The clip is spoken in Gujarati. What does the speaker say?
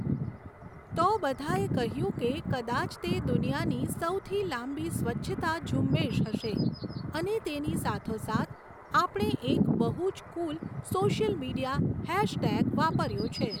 તો બધાએ કહ્યું કે કદાચ તે દુનિયાની સૌથી લાંબી સ્વચ્છતા ઝુંબેશ હશે અને તેની સાથોસાથ આપણે એક બહુ જ કૂલ સૉશિયલ મિડિયા હૅશટેગ વાપર્યો છે.